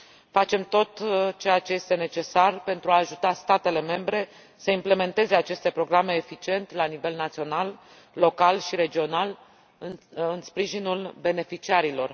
Facem tot ceea ce este necesar pentru a ajuta statele membre să implementeze aceste programe eficient la nivel național, local și regional, în sprijinul beneficiarilor.